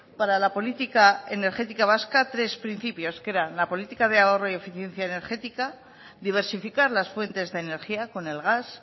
para la política energética vasca tres principios que era la política de ahorro y eficiencia energética diversificar las fuentes de energía con el gas